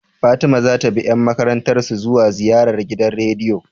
Fatima zata bi yan makarantar su zuwa ziyarar gidan rediyo?